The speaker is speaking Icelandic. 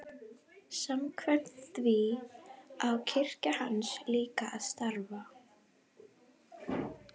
Samkvæmt því á kirkja hans líka að starfa.